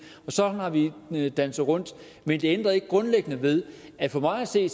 og sådan har vi danset rundt men det ændrer ikke grundlæggende ved at for mig at se